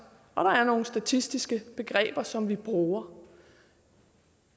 og der er nogle statistiske begreber som vi bruger